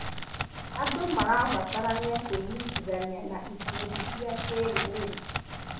Andũ marabatara kwĩnyitithani na ikundi cia kĩrũrĩrĩ.#